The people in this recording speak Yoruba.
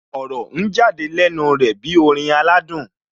Ọ̀rọ̀ ń jáde lẹ́nu rẹ̀ bí orin aládùn